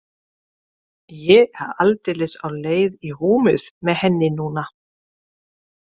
Ég er aldeilis á leið í rúmið með henni núna.